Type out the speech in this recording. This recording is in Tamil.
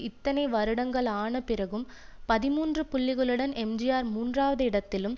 இத்தனை வருடங்கள் ஆன பிறகும் பதிமூன்று புள்ளிகளுடன் எம்ஜிஆர் மூன்றாவது இடத்திலும்